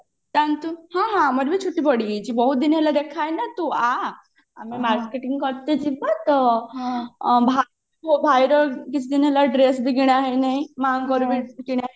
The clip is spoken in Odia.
ହଁ ହଁ ଆମର ବି ଚୁଟି ବଢି ଯାଇଛି ବହୁତ ଦିନ ହେଲା ଦେଖା ହେଇନି ନା ତୁ ଆ ଆମ marketing କରତେ ଯିବା ତ ମୋ ଭାଇର କିଛି ଦିନ ହେଲା dress ବି କିଣା ହେଇନି ମାଙ୍କର ବି କିଣା ହେଇନି